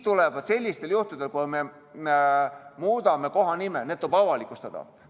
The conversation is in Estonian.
Sellisel juhul, kui me muudame kohanime, tuleb see avalikustada.